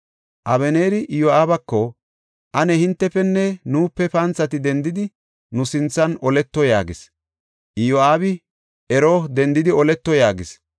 Abeneeri Iyo7aabako, “Ane hintefenne nuupe panthati dendidi, nu sinthan oleto” yaagis. Iyo7aabi, “Ero, dendidi oleto” yaagis.